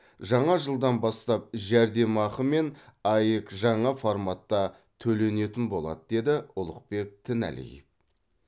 жаңа жылдан бастап жәрдемақы мен аәк жаңа форматта төленетін болады деді ұлықбек тіналиев